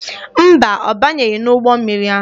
Mba, ọ banyeghị n'ụgbọ mmiri ahụ.